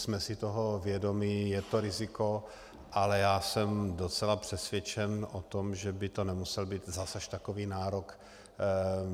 Jsme si toho vědomi, je to riziko, ale já jsem docela přesvědčen o tom, že by to nemusel být zas až takový nárok.